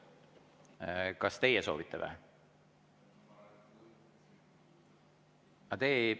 Kas teie soovite või?